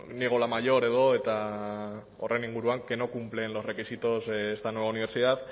niego la mayor edo que no cumplen los requisitos esta nueva universidad